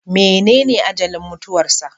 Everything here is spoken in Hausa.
Menene ajalin mutuwarsa?